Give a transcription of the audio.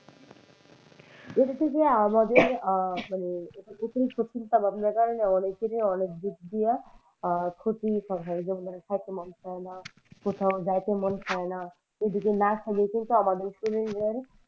এটা থেকে আমাদের আহ মানে অতিরিক্ত চিন্তা ভাবনার কারনে অনেকেরই অনেক দিক দিয়া হয় আহ ক্ষতি হয় এবং মানে যেমন খেতে মন চায়না কোথাও জাইতে মন চায়না আমাদের শরীরের,